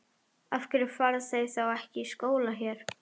Af hverju fara þau þá ekki í skóla hér?